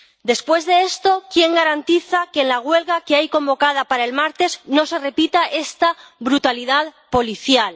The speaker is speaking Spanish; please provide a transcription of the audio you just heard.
Después de esto, ¿quién garantiza que en la huelga que hay convocada para el martes no se repita esta brutalidad policial?